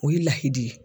O ye lahidi